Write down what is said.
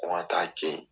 Ko n ka taa ten